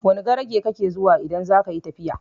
Wani garage kake zuwa idan zakayi tafiya?